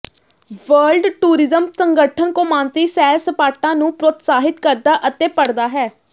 world tourism ਸੰਗਠਨ ਕੌਮਾਂਤਰੀ ਸੈਰ ਸਪਾਟਾ ਨੂੰ ਪ੍ਰੋਤਸਾਹਿਤ ਕਰਦਾ ਅਤੇ ਪੜ੍ਹਦਾ ਹੈ